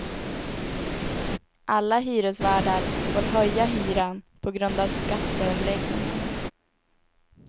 Alla hyresvärdar får höja hyran på grund av skatteomläggningen.